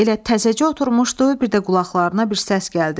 Elə təzəcə oturmuşdu, bir də qulaqlarına bir səs gəldi.